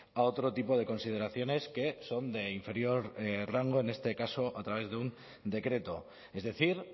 a otro tipo de consideraciones que son de inferior rango en este caso a través de un decreto es decir